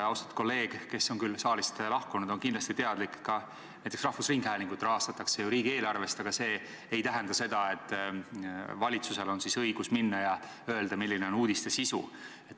Austatud kolleeg, kes on küll saalist lahkunud, on kindlasti teadlik ka sellest, et näiteks rahvusringhäälingut rahastatakse ju riigieelarvest, aga see ei tähenda seda, et valitsusel on õigus minna ja öelda, milline on uudiste sisu.